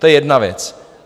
To je jedna věc.